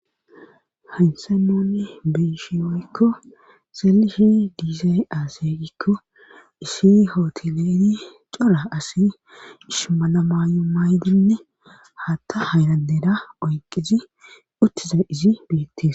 haynsan nunn beyishe woykko seyishe diizay aaseygikko iishi hootoleeri cora asi ishmalamayu maaydinne hatta haynadeda oyqizi uttiza izi beettis